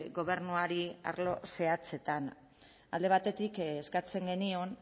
gobernuari arlo zehatzetan alde batetik eskatzen genion